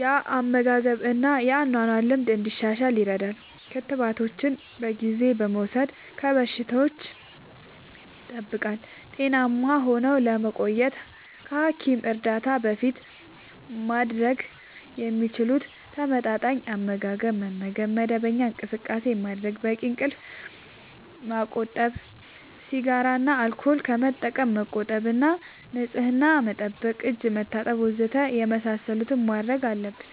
የአመጋገብ እና የአኗኗር ልምድ እንዲሻሻል ይረዳል። ክትባቶችን በጊዜ በመውሰድ ከበሽታዎች ይጠብቃል። ጤናማ ሆነው ለመቆየት ከሐኪም እርዳታ በፊት ማድረግ የሚችሉት፦ ተመጣጣኝ አመጋገብ መመገብ፣ መደበኛ እንቅስቃሴ ማድረግ፣ በቂ እንቅልፍ ማመቆጠብ፣ ሲጋራ እና አልኮል ከመጠቀም መቆጠብ እና ንጽህና መጠበቅ (እጅ መታጠብ ወዘተ) የመሳሰሉትን ማድረግ አለብን።